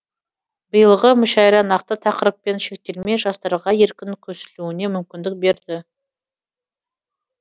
биылғы мүшәйра нақты тақырыппен шектелмей жастарға еркін көсілуіне мүмкіндік берді